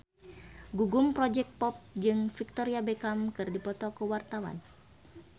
Gugum Project Pop jeung Victoria Beckham keur dipoto ku wartawan